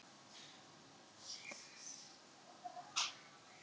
Og eins og fram kemur á heimasíðu Nasa sjá geimfarar einnig önnur mannvirki á jörðinni.